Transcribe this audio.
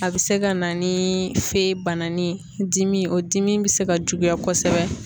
A bɛ se ka na ni fe banani ye dimi o dimi bɛ se ka juguya kosɛbɛ.